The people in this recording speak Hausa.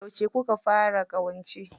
Yauce kuka fara ƙawance?